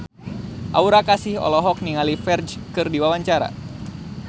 Aura Kasih olohok ningali Ferdge keur diwawancara